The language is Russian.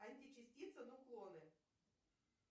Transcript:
античастицы нуклоны